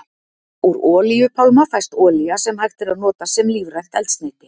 Úr olíupálma fæst olía sem hægt er að nota sem lífrænt eldsneyti.